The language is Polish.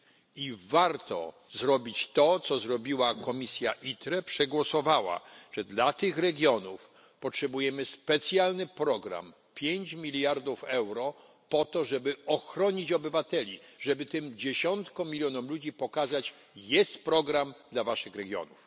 I warto zrobić to, co zrobiła komisja ITRE. Przegłosowała, że dla tych regionów potrzebujemy specjalny program, 5 mld euro po to, żeby ochronić obywateli, żeby tym dziesiątkom milionom ludzi pokazać, że jest program dla waszych regionów.